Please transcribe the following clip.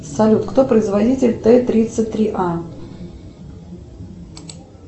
салют кто производитель тэ тридцать три а